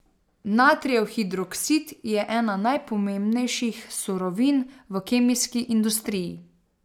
Natrijev hidroksid je ena najpomembnejših surovin v kemijski industriji.